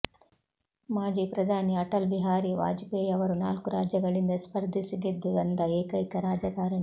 ಮಾಜಿ ಪ್ರಧಾನಿ ಅಟಲ್ ಬಿಹಾರಿ ವಾಜಪೇಯಿ ಅವರು ನಾಲ್ಕು ರಾಜ್ಯಗಳಿಂದ ಸ್ಪರ್ಧಿಸಿ ಗೆದ್ದು ಬಂದ ಏಕೈಕ ರಾಜಕಾರಣಿ